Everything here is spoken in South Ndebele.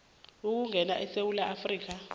ukungena esewula afrika